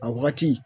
A wagati